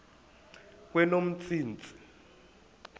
kweyomntsintsi